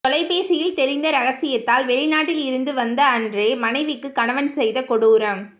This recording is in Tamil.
தொலைபேசியில் தெரிந்த ரகசியத்தால் வெளிநாட்டில் இருந்து வந்த அன்றே மனைவிக்கு கணவன் செய்த கொடூரம்